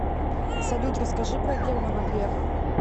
салют расскажи про германа грефа